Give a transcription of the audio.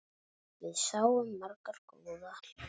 Við sáum marga góða hluti.